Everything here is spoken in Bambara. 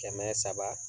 Kɛmɛ saba